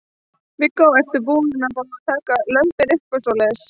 Viggó: Ertu búin að fá að taka lömbin upp og svoleiðis?